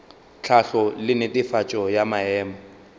tlhahlo le netefatšo ya maemo